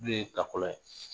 de ye kakɔlɔ ye